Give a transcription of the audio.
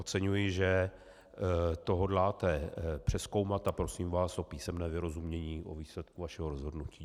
Oceňuji, že to hodláte přezkoumat, a prosím vás o písemné vyrozumění o výsledku vašeho rozhodnutí.